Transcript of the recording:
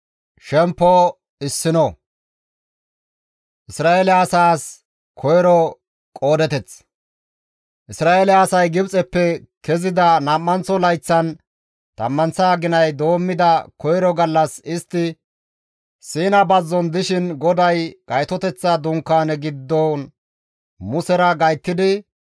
Isra7eele asay Gibxeppe kezida nam7anththo layththan nam7anththa aginay doommida koyro gallas istti Siina bazzon dishin GODAY Gaytoteththa Dunkaane giddon Musera gayttidi,